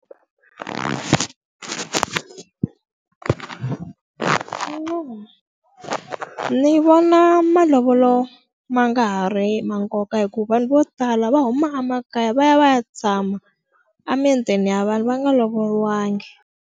Ndzi vona malovolo ma nga ha ri ma nkoka hikuva vanhu vo tala va huma emakaya va ya va ya tshama emitini ya vanhu va nga lovoriwanga.